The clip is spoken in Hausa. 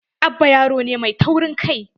Abba yaro ne mai taurin kai.